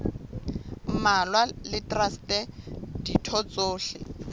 mmalwa le traste ditho tsohle